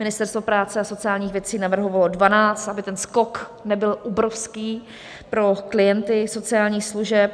Ministerstvo práce a sociálních věcí navrhovalo 12, aby ten skok nebyl obrovský pro klienty sociálních služeb.